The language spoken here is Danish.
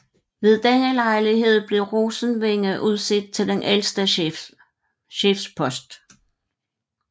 Ved denne lejlighed blev Rosenvinge udset til den ældste chefspost